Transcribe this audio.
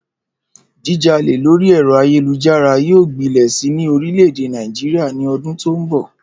Jíjalè lórí è̩ro̩ ayélujára yóò gbilè̩ si ní orìlè̩-èdè Nàìjíríà ní o̩dún tó ń bò̩